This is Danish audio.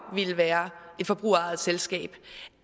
ville være et forbrugerejet selskab